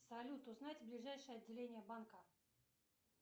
салют узнать ближайшее отделение банка